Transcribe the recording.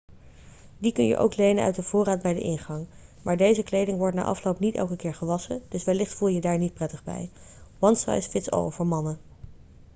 die kun je ook lenen uit de voorraad bij de ingang maar deze kleding wordt na afloop niet elke keer gewassen dus wellicht voel je je daar niet prettig bij one size fits all voor mannen